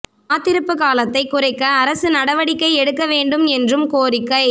காத்திருப்பு காலத்தை குறைக்க அரசு நடவடிக்கை எடுக்க வேண்டும் என்றும் கோரிக்கை